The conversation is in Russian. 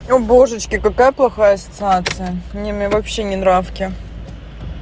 о божечки какая плохая асоциация не мне вообще не нравится